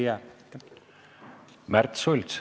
Märt Sults.